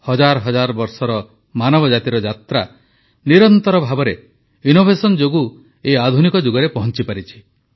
ହଜାର ହଜାର ବର୍ଷର ମାନବ ଜାତିର ଯାତ୍ରା ନିରନ୍ତର ଭାବେ ନବସୃଜନ ଯୋଗୁଁ ଏହି ଆଧୁନିକ ଯୁଗରେ ପହଂଚିପାରିଛି